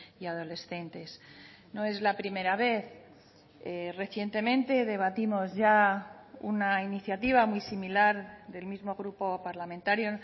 y adolescentes no es la primera vez recientemente debatimos ya una iniciativa muy similar del mismo grupo parlamentario